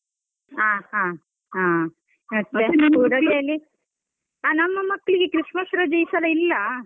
ಹಾ ಹಾ ಹಾ ನಮ್ಮ ಮಕ್ಳಿಗೆ Christmas ರಜೆ ಈ ಸಲ ಇಲ್ಲ.